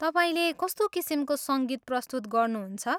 तपाईँले कस्तो किसिमको सङ्गीत प्रस्तुत गर्नुहुन्छ?